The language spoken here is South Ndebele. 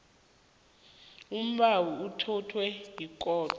umbawi uthathwa yikhotho